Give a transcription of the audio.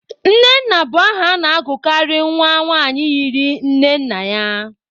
Nnenna bụ aha a na-agụkarị nwa nwanyị yiri nne nna ya.